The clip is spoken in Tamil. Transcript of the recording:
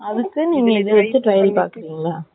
அதுக்கு நீங்க இதை வச்சி trial பண்ணி பாக்குறீங்க.